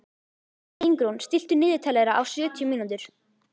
Ingrún, stilltu niðurteljara á sjötíu mínútur.